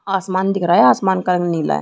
आसमान दिख रहा है आसमान का रंग नीला है।